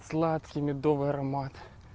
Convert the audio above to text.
сладкий медовый аромат